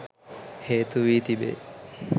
හේතු වී තිබේ